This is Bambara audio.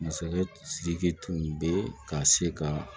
Masakɛ sidiki tun bɛ ka se ka